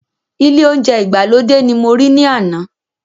Ile ounje igbalode ní mo ri ni àna